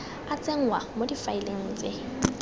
a tsenngwa mo difaeleng tse